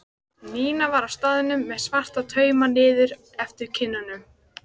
Nína var á staðnum með svarta tauma niður eftir kinnunum.